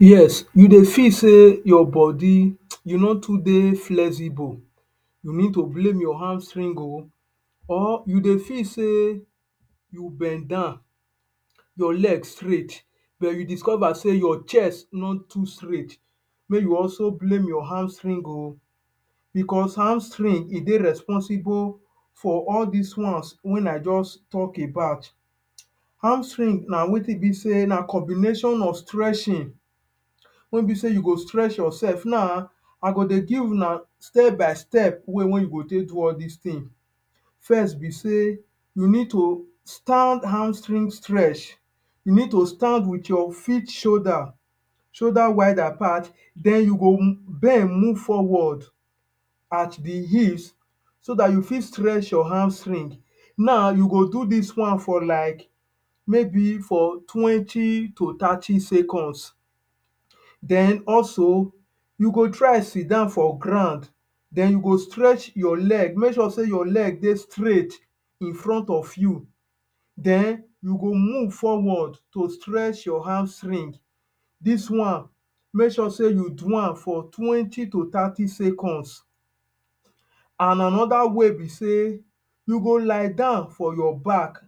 Yes, you dey feel sey your body, you no dey too flexible, you need to blame your hamstring oh. Or you dey feel sey you bend down, your leg straight, but you discover sey your chest no too straight, make you also blame your hamstring oh. Becos hamstring, e dey responsible for all dis ones wey I juz talk about. Hamstring na wetin be sey na combination of stretching wey be sey you go strecth yoursef Now, I go dey give una step by step way wey you go take do all dis tin. First be sey you need to hamstring stretch. You need to stand with your shoulder, shoulder wide apart, then you go bend move forward at the hips so dat you fit stretch your hamstring. Now, you go do dis one for like maybe for twenty to thirty seconds. Then also, you go try sit down for ground then you go stretch your leg, make you sure sey your leg dey straight in front of you. Then you go move forward to stretch your hamstring. Dis one, make sure sey you do am for twenty to thirty seconds. An another way be sey you go lie down for your back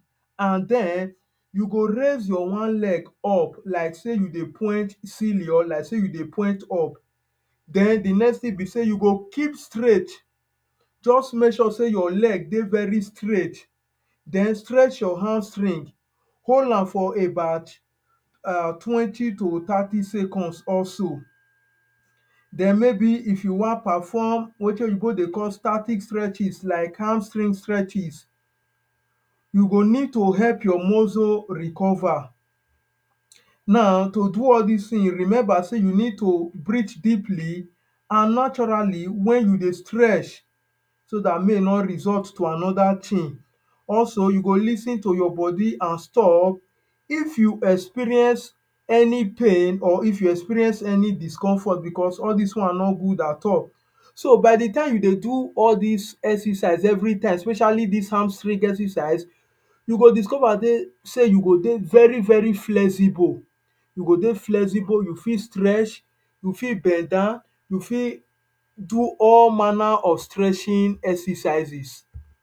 an then, you go raise your one leg up like sey you dey point ceiling or like sey you dey point up. Then, the next tin be sey you go keep straight, juz make sure sey your leg dey very straight. Then stretch your hamstring. Hold am for about er twenty to thirty seconds also. Then maybe if you wan perform wetin oyinbo dey call static stretches, like hamstring stretches, you go need to help your muscle recover. Now, to do all dis tins, remember sey you need to breathe deeply an naturally wen you dey stretch so dat make e no result to another tin. Also, you go lis ten to your body an stop if you experience any pain or if you experience any discomfort becos all dis one no good at all. So, by the time you dey do all dis exercise everytime especially dis hamstring exercise, you go discover sey you go dey very very flexible. You go dey flexible, you fit stretch, you fit bend down, you fit do all manner of stretching exercises.